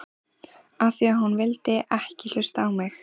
Af því að þú vildir ekki hlusta á mig!